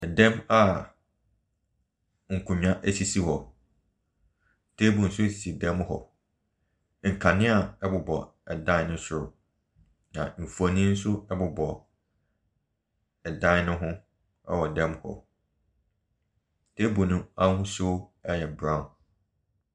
Ɛdɛm a nkonwa esisi hɔ. Table nso esi dɛm mo hɔ. Nkanea ɛbobɔ dan no soro na nfoni nso ɛbobɔ ɛdan ne ho ɛwɔ dɛm hɔ. Table no ahosuo ɛyɛ brown.